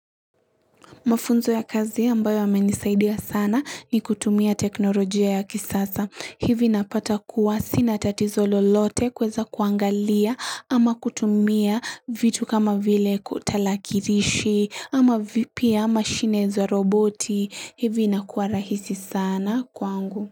Mafunzo ya kazi ambayo yamenisaidia sana ni kutumia teknolojia ya kisasa. Hivi napata kuwasi na tatizo lolote kuweza kuangalia ama kutumia vitu kama vile kutalakirishi ama vipi ama shineza roboti. Hivi na kuwa rahisi sana kwangu.